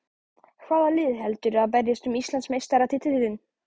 Hvaða lið heldurðu að berjist um Íslandsmeistaratitilinn?